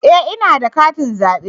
E! ina da katin zabe.